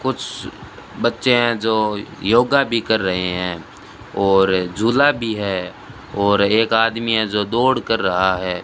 कुछ बच्चे हैं जो योगा भी कर रहे हैं और झूला भी है और एक आदमी है जो दौड़ कर रहा है।